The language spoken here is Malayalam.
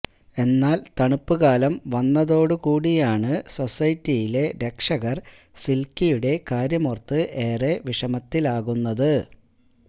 എന്നാൽ തണുപ്പ് കാലം വന്നതോടു കൂടിയാണ് സൊസൈറ്റിയിലെ രക്ഷകർ സിൽക്കിയുടെ കാര്യമോർത്ത് ഏറെ വിഷമത്തിലാകുന്നത്